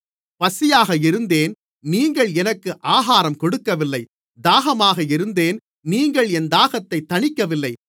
பசியாக இருந்தேன் நீங்கள் எனக்கு ஆகாரம் கொடுக்கவில்லை தாகமாக இருந்தேன் நீங்கள் என் தாகத்தைத் தணிக்கவில்லை